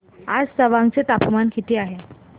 आज तवांग चे तापमान किती आहे